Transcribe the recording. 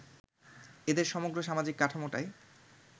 এদের সমগ্র সামাজিক কাঠামোটাই